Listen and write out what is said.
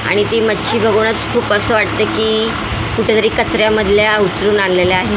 आणि ती मच्छी बघूनच खूप असं वाटते की कुठेतरी कचऱ्यामधल्या उचलून आणलेल्या आहेत.